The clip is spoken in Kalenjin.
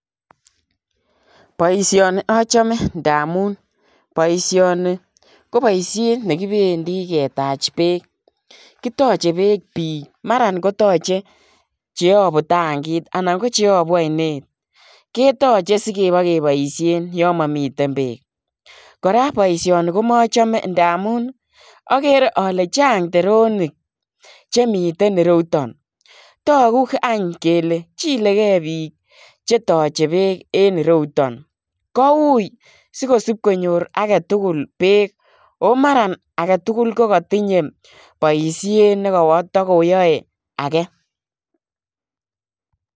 Boisioni achame ndamuun boisioni ko baisheet ne kibendii ketaach beek kitachei beek biik maraan ko yachei che abuu tankiit anan ko cheabuu ainet ketachei sibokebaisheen yaan mamiten beek kora boisioni ko machamdeen ndamuun agere ale chaang teronik che miten ire yutoon taguu kele chilegei biik che yachei beek en ire yutoon ko wui sigosipkonyoor age tugul beek ko mara age tugul ko katinyei boisiet ne katokoyae agei.